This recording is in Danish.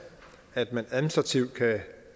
at man administrativt kan